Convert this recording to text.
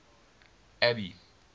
abby